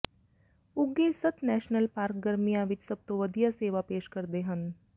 ਉੱਘੇ ਸੱਤ national park ਗਰਮੀਆਂ ਵਿੱਚ ਸਭ ਤੋਂ ਵਧੀਆ ਸੇਵਾ ਪੇਸ਼ ਕਰਦੇ ਹਨ